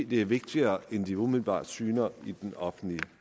det er vigtigere end det måske umiddelbart syner i den offentlige